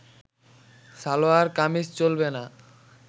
সালোয়ার কামিজ চলবে না